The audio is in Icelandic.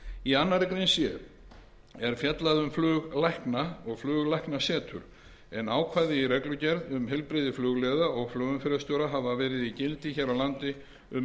í annarri grein c er fjallað um fluglækna og fluglæknasetur en ákvæði í reglugerð um heilbrigði flugliða og flugumferðarstjóra hafa verið í gildi hér á landi um